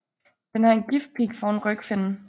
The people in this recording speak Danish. Den har en giftpig foran rygfinnen